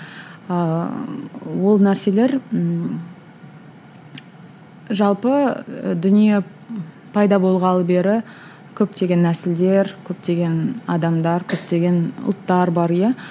ыыы ол нәрселер ммм жалпы дүние пайда болғалы бері көптеген нәсілдер көптеген адамдар көптеген ұлттар бар иә